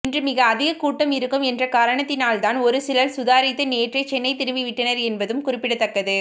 இன்று மிக அதிகமாக கூட்டம் இருக்கும் என்ற காரணத்தினால்தான் ஒருசிலர் சுதாரித்து நேற்றே சென்னை திரும்பி விட்டனர் என்பதும் குறிப்பிடத்தக்கது